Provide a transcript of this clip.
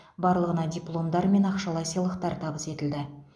барлығына дипломдар мен ақшалай сыйлықтар табыс етілді